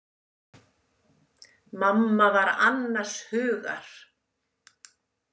Mamma var annars hugar.